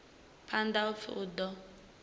phanḓa u pfi u ḓo